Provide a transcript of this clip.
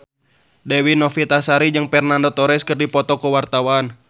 Dewi Novitasari jeung Fernando Torres keur dipoto ku wartawan